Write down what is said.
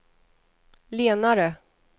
lenare